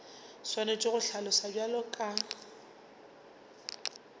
swanetše go hlaloswa bjalo ka